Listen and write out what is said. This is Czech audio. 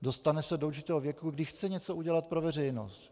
Dostane se do určitého věku, kdy chce něco udělat pro veřejnost.